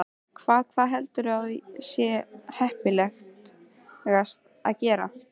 Hvað, hvað heldurðu að sé heppilegast að gera?